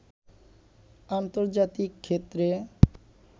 আন্তর্জাতিক ক্ষেত্রে